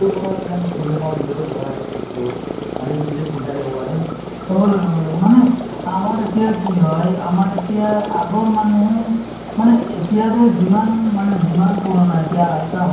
so যদি কিছুমান গাওঁবোৰত যদি সেইবোৰ program হোৱা নাই যদিও আমিয়ে ধৰক যিবোৰ আমি যুব প্ৰজন্ম বহুত আছো হয়নে নহয় তেওঁলোকে মিলি পেলাই মিলিজুলি আ গাঁৱৰ কিছুমান ধৰক বয়সস্থ মানুহ বা গাঁওবুঢ়া